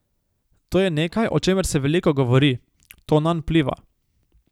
To je nekaj, o čemer se veliko govori, to nanj vpliva.